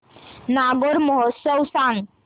नागौर महोत्सव सांग